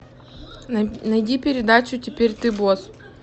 найди передачу теперь ты босс